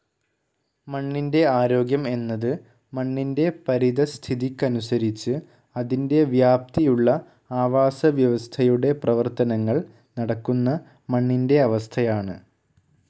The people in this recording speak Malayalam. മണ്ണിന്റെ ആരോഗ്യം എന്നത് മണ്ണിന്റെ പരിതഃസ്ഥിതിക്കനുസരിച്ച് അതിന്റെ വ്യാപ്തിയുള്ള ആവാസവ്യവസ്ഥയുടെ പ്രവർത്തനങ്ങൾ നടക്കുന്ന മണ്ണിന്റെ അവസ്ഥയാണ്.